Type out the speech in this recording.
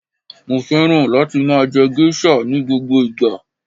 Mo féràn láti máa je geisha ni gbogbo ìgbà